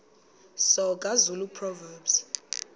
soga zulu proverbs